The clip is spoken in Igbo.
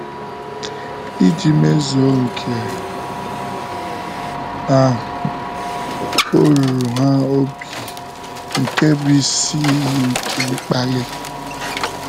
Iji mezuo nke ahụ, ọ ruru ha obi nke bụ́ isi iyi nke mkpali.